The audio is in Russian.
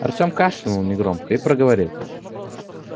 артём кашлянул негромко и проговорил